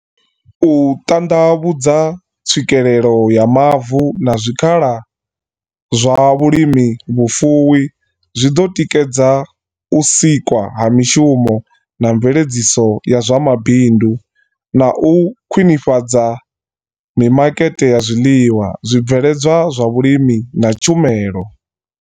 U ṱandavhudza tswikelelo ya mavu na zwikhala zwa vhu limi vhu fuwi zwi ḓo tikedza u sikwa ha mishumo na mveledziso ya zwa mabindu, na u khwiṋifhadza mimakete ya zwiḽiwa, zwi bveledzwa zwa vhulimi na tshumelo.